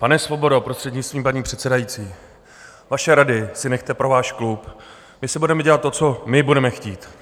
Pane Svobodo, prostřednictvím paní předsedající, vaše rady si nechte pro váš klub, my si budeme dělat to, co my budete chtít.